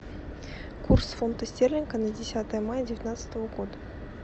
курс фунта стерлинга на десятое мая девятнадцатого года